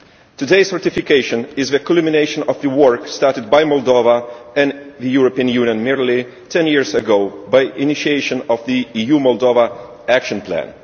Today's ratification is the culmination of the work started by Moldova and the European Union nearly ten years ago with the initiation of the EU Moldova Action Plan.